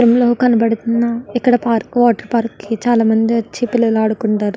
ఇందులో కనపడుతున్న ఇక్కడ పార్క్ వాటర్ పార్క్ కి చాల మంది వచ్చి పిల్లలు ఆడుకుంటారు.